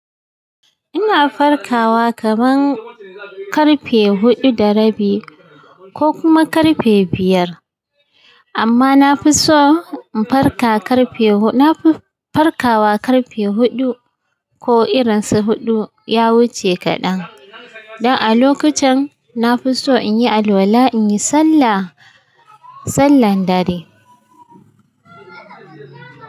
Ina farkawa kaman karfe huɗu da rabi ko kuma karfe biyar. Amma na fi so in farka karfe huɗu. Na fi farkawa karfe huɗu ko irin su huɗu ya wuce kaɗan. Don a lokacin na fi so in yi alwala, in yi sallah, sallar dare.